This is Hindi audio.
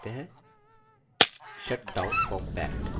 shutdown compact